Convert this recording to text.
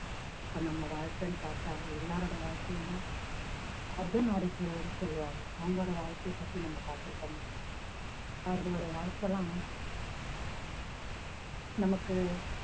இப்ப நம்ம வாழ்க்கைன்னு பார்த்தா எல்லாரோட வாழ்க்கையுமே அர்த்தநாரீஸ்வரர்ன்னு சொல்லுவாங்க அவங்களோட வாழ்க்கையைப் பத்தி நம்ம பார்த்திருக்கோமா அவர்களுடைய வாழ்க்கைலாம் நமக்கு